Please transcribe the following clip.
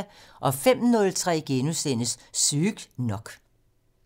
05:03: Sygt nok *